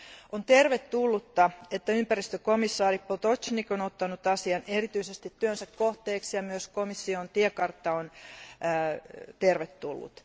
On tervetullutta, että ympäristökomissaari Potočnik on ottanut asian erityisesti työnsä kohteeksi, ja myös komission tiekartta on tervetullut.